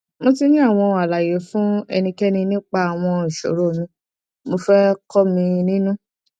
mo ti ní àwọn àlàyé fún ẹnikẹni nípa àwọn ìṣòro mi mo fẹ kọ́ mi nínú